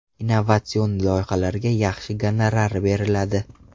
Innovatsion loyihalarga yaxshi gonorar beriladi.